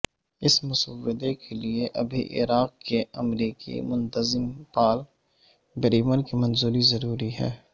اس مسودے کے لئے ابھی عراق کے امریکی منتظم پال بریمر کی منظوری ضروری ہے